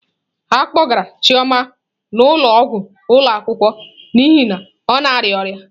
A kpọgara Chioma n'ụlọọgwụ ụlọ akwụkwọ n'ihi na ọ na-arịa ọrịa.